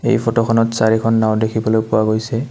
এই ফটো খনত চাৰিখন নাওঁ দেখিবলৈ পোৱা গৈছে।